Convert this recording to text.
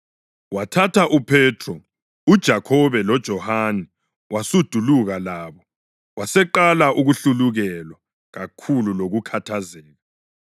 Wathatha uPhethro, uJakhobe loJohane wasuduluka labo, waseqala ukuhlulukelwa kakhulu lokukhathazeka.